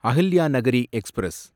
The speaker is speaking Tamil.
அஹில்யாநகரி எக்ஸ்பிரஸ்